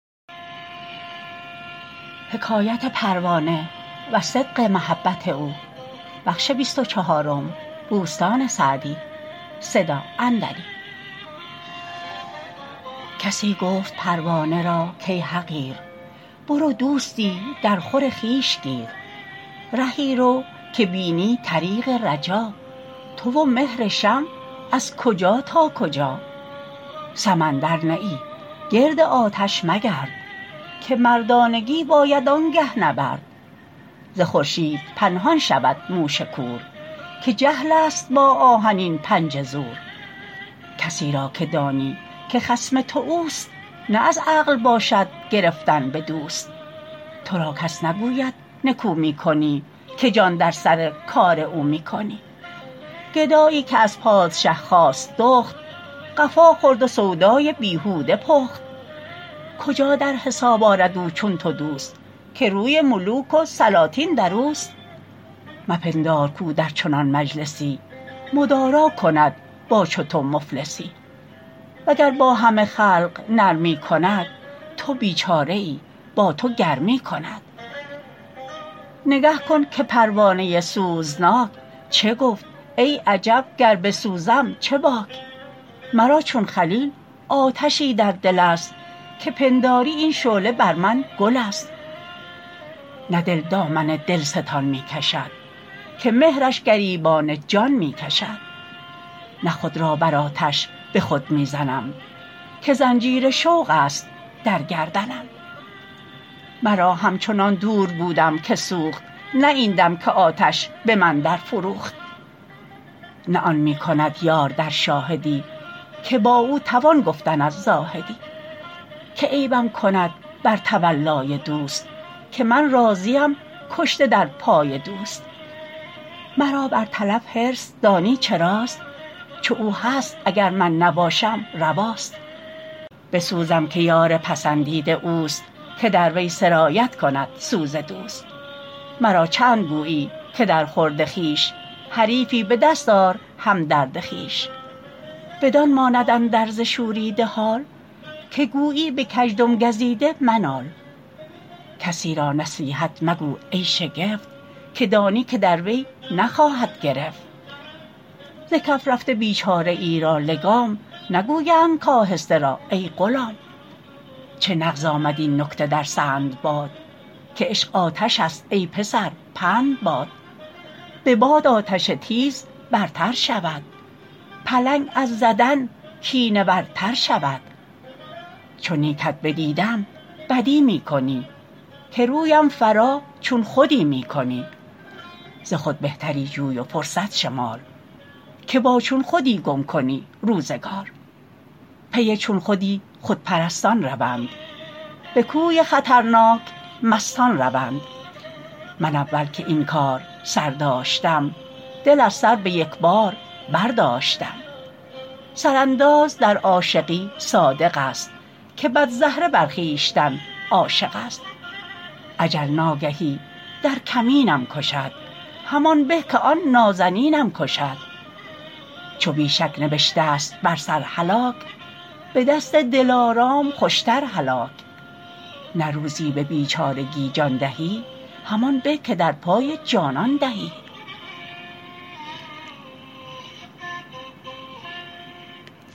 کسی گفت پروانه را کای حقیر برو دوستی در خور خویش گیر رهی رو که بینی طریق رجا تو و مهر شمع از کجا تا کجا سمندر نه ای گرد آتش مگرد که مردانگی باید آنگه نبرد ز خورشید پنهان شود موش کور که جهل است با آهنین پنجه زور کسی را که دانی که خصم تو اوست نه از عقل باشد گرفتن به دوست تو را کس نگوید نکو می کنی که جان در سر کار او می کنی گدایی که از پادشه خواست دخت قفا خورد و سودای بیهوده پخت کجا در حساب آرد او چون تو دوست که روی ملوک و سلاطین در اوست مپندار کاو در چنان مجلسی مدارا کند با چو تو مفلسی وگر با همه خلق نرمی کند تو بیچاره ای با تو گرمی کند نگه کن که پروانه سوزناک چه گفت ای عجب گر بسوزم چه باک مرا چون خلیل آتشی در دل است که پنداری این شعله بر من گل است نه دل دامن دلستان می کشد که مهرش گریبان جان می کشد نه خود را بر آتش به خود می زنم که زنجیر شوق است در گردنم مرا همچنان دور بودم که سوخت نه این دم که آتش به من در فروخت نه آن می کند یار در شاهدی که با او توان گفتن از زاهدی که عیبم کند بر تولای دوست که من راضیم کشته در پای دوست مرا بر تلف حرص دانی چراست چو او هست اگر من نباشم رواست بسوزم که یار پسندیده اوست که در وی سرایت کند سوز دوست مرا چند گویی که در خورد خویش حریفی به دست آر همدرد خویش بدان ماند اندرز شوریده حال که گویی به کژدم گزیده منال کسی را نصیحت مگو ای شگفت که دانی که در وی نخواهد گرفت ز کف رفته بیچاره ای را لگام نگویند کآهسته ران ای غلام چه نغز آمد این نکته در سندباد که عشق آتش است ای پسر پند باد به باد آتش تیز برتر شود پلنگ از زدن کینه ور تر شود چو نیکت بدیدم بدی می کنی که رویم فرا چون خودی می کنی ز خود بهتری جوی و فرصت شمار که با چون خودی گم کنی روزگار پی چون خودی خودپرستان روند به کوی خطرناک مستان روند من اول که این کار سر داشتم دل از سر به یک بار برداشتم سر انداز در عاشقی صادق است که بدزهره بر خویشتن عاشق است اجل ناگهی در کمینم کشد همان به که آن نازنینم کشد چو بی شک نبشته ست بر سر هلاک به دست دلارام خوشتر هلاک نه روزی به بیچارگی جان دهی همان به که در پای جانان دهی